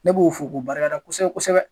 Ne b'u fo k'u barika da kosɛbɛ kosɛbɛ.